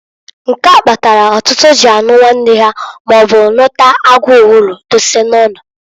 Nke a kpatalụ ọtụtụ ji anụ nwanne ha, maọbu nụta agu owulu dose n'ụnọ.